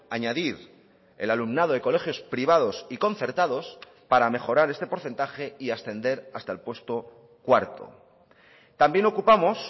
añadir el alumnado de colegios privados y concertados para mejorar este porcentaje y ascender hasta el puesto cuarto también ocupamos